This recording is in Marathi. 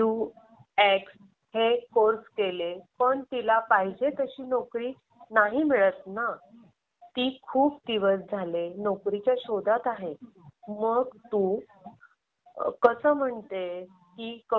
तिने ना वेब. डिझाईन मधला in designing Corel Draw best U I U X हे कोर्स केले पण तिला